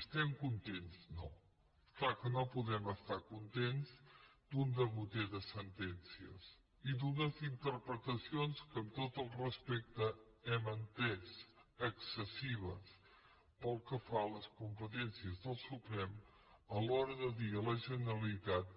estem contents no és clar que no podem estar contents d’un degoter de sentències i d’unes interpretacions que amb tot el respecte hem entès excessives pel que fa a les competències del suprem a l’hora de dir a la generalitat